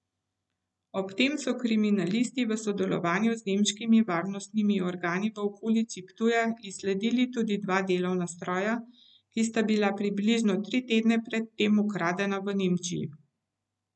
Ob tem so kriminalisti v sodelovanju z nemškimi varnostnimi organi v okolici Ptuja izsledili tudi dva delovna stroja, ki sta bila približno tri tedne pred tem ukradena v Nemčiji.